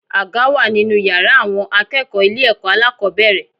Àga wà nínú yàrá àwọn akẹ́kọ̀ọ́ ilé ẹ̀kọ́ alákòbẹ̀rẹ̀.